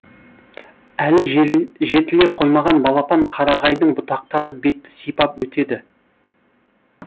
әлі жетіле қоймаған балапан қарағайдың бұтақтары бетті сипап өтеді